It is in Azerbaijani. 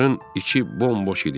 Çadırın içi bomboş idi.